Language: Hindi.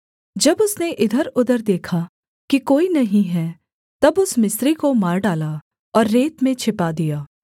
जब उसने इधरउधर देखा कि कोई नहीं है तब उस मिस्री को मार डाला और रेत में छिपा दिया